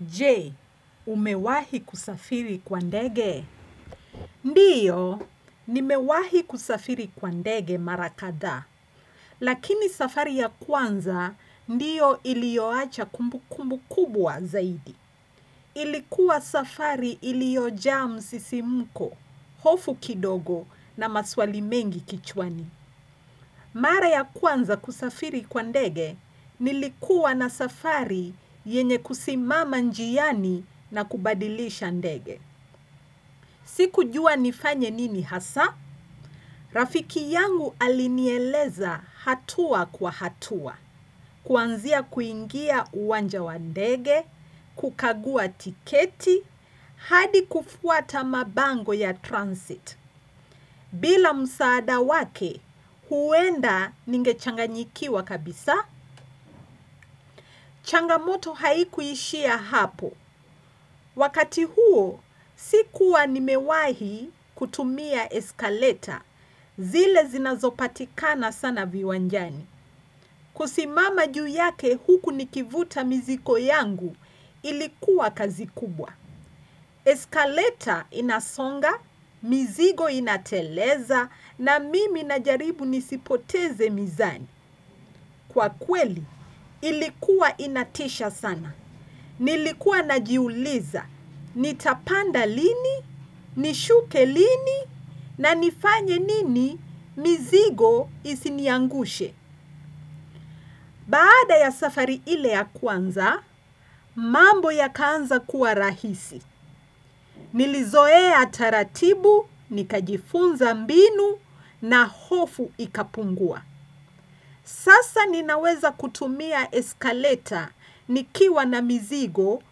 Je, umewahi kusafiri kwa ndege? Ndiyo, nimewahi kusafiri kwa ndege mara kadhaa. Lakini safari ya kwanza, ndiyo ilioacha kumbukumbu kubwa zaidi. Ilikuwa safari iliojaa msisimko, hofu kidogo na maswali mengi kichwani. Mara ya kwanza kusafiri kwa ndege, nilikuwa na safari yenye kusimama njiani na kubadilisha ndege. Sikujua nifanye nini hasaa. Rafiki yangu alinieleza hatua kwa hatua. Kuanzia kuingia uwanja wa ndege, kukagua tiketi, hadi kufuata mabango ya transit. Bila msaada wake huenda ningechanganyikiwa kabisa, changamoto haikuishia hapo. Wakati huo, sikuwa nimewahi kutumia eskaleta zile zinazopatikana sana viwanjani. Kusimama juu yake huku nikivuta mizigo yangu ilikuwa kazi kubwa. Eskaleta inasonga, mizigo inateleza na mimi najaribu nisipoteze mizani. Kwa kweli ilikuwa inatisha sana. Nilikuwa najiuliza. Nitapanda lini, nishuke lini na nifanye nini mizigo isiniangushe. Baada ya safari ile ya kwanza, mambo yakaanza kuwa rahisi. Nilizoea taratibu, nikajifunza mbinu na hofu ikapungua. Sasa ninaweza kutumia eskaleta nikiwa na mizigo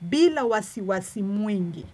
bila wasiwasi mwingi.